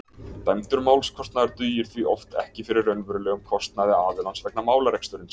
Dæmdur málskostnaður dugir því oft ekki fyrir raunverulegum kostnaði aðilans vegna málarekstursins.